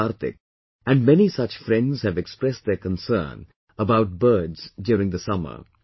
Kartik and many such friends have expressed their concern about birds during the summer